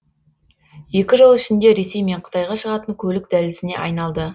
екі жыл ішінде ресей мен қытайға шығатын көлік дәлізіне айналды